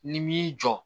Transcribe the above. Ni m'i jɔ